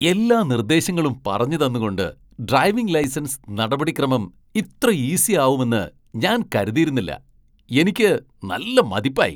എല്ലാ നിർദ്ദേശങ്ങളും പറഞ്ഞു തന്നുകൊണ്ട് ഡ്രൈവിംഗ് ലൈസൻസ് നടപടിക്രമം ഇത്ര ഈസി ആവുമെന്ന് ഞാൻ കരുതിയിരുന്നില്ല. എനിക്ക് നല്ല മതിപ്പായി!